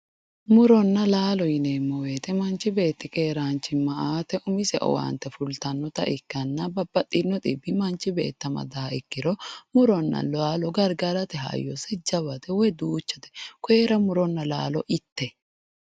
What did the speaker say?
Muronna laalo yineemmo woyiite manchi beetti keeraanchimma aate umise owaante fultannota ikkanna babbaxino xibbi manchi beetto amadaaha ikkiro muronna laalo gargarate hayyose jawate woy duuchate. Kooyiira muronna laalo itte.